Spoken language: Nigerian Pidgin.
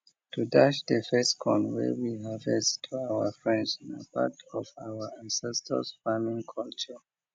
to dash de first corn wey we harvest to our friends na part of our ancestors farming culture